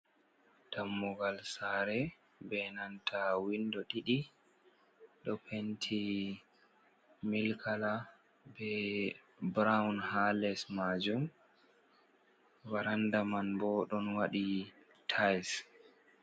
Dammugal sare be nanta windo ɗiɗi ɗo penti milik kala be burawn ha les majum varanda man bo ɗon waɗi tails.